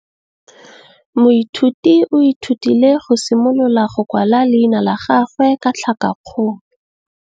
Moithuti o ithutile go simolola go kwala leina la gagwe ka tlhakakgolo.